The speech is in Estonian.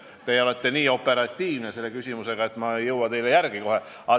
Te olete küsides nii operatiivne, et ma ei jõua teile kohe järele.